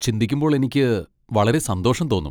ചിന്തിക്കുമ്പോൾ എനിക്ക് വളരെ സന്തോഷം തോന്നും.